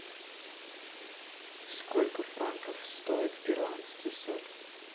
сколько франков стоит перуанский соль